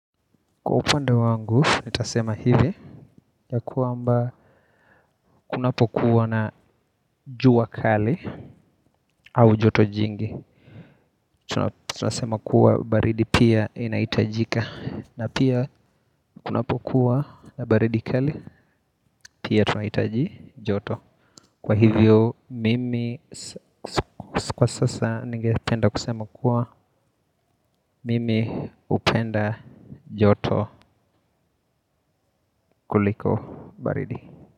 Kwa upande wangu, nitasema hivi, ya kwamba kunapokuwa na jua kali au joto jingi, tunasema kuwa baridi pia inahitajika, na pia kunapokuwa na baridi kali, pia tunahitaji joto. Kwa hivyo, mimi, kwa sasa, ninge penda kusema kuwa, mimi hupenda joto kuliko baridi.